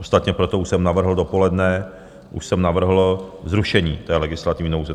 Ostatně proto už jsem navrhl dopoledne, už jsem navrhl zrušení té legislativní nouze.